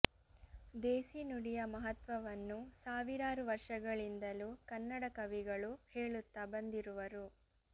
ದೇಸಿ ನುಡಿಯ ಮಹತ್ವವನ್ನು ಸಾವಿರಾರು ವರುಷಗಳಿಂದಲೂ ಕನ್ನಡ ಕವಿಗಳು ಹೇಳುತ್ತ ಬಂದಿರುವರು